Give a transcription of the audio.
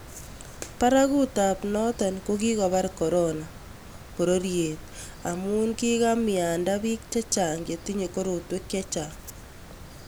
Barakutap noto ko kikobar korona pororiet amu kikomiando bik chechang chetinyei korotwek chechang